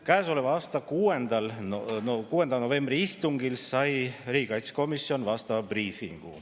Käesoleva aasta 6. novembri istungil sai riigikaitsekomisjon vastava briifi.